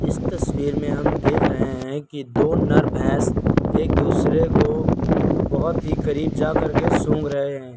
इस तस्वीर में हम देख रहे हैं कि दो नर भैंस एक दूसरे को बहोत ही करीब जा कर के सूंघ रहे हैं।